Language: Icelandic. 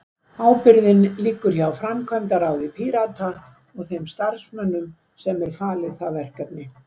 Ábyrgðin liggur hjá framkvæmdaráði Pírata og þeim starfsmönnum sem er falið það verkefni.